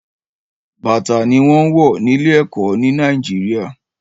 bàtà ni wọ́n wọ ilé ẹ̀kọ́ ní Nàìjíríà